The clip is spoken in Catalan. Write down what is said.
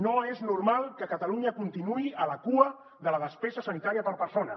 no és normal que catalunya continuï a la cua de la despesa sanitària per persona